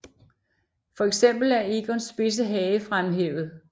For eksempel er Egons spidse hage fremhævet